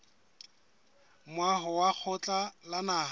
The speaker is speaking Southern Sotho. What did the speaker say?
moaho wa lekgotla la naha